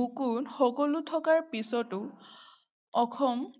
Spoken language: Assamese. বুকুত সকলো থকাৰ পিছতো অসম